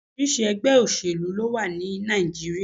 Oríṣiríṣi ẹ̀gbẹ́ òsèlú ló wà ní Nàìjíríà.